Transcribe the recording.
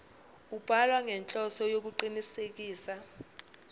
ubhalwa ngenhloso yokuqinisekisa